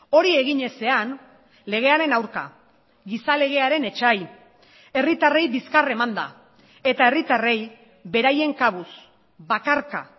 hori egin ezean legearen aurka gizalegearen etsai herritarrei bizkar emanda eta herritarrei beraien kabuz bakarka